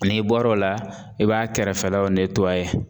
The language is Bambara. N'i bɔr'o la i b'a kɛrɛfɛlaw